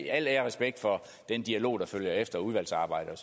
al ære og respekt for den dialog der følger efter udvalgsarbejdet